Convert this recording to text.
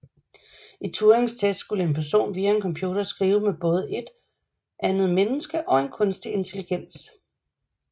I Turings test skulle en person via en computer skrive med både et andet menneske og en kunstig intelligens